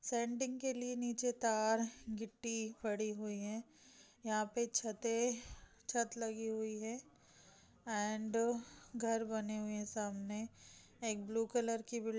sanding के लिए नीचे तार गिट्टी पड़ी हुई है यहा पे छते अह छत लगी हुई है अँड घर बने हुए है सामने एक ब्लू कलर की बिल --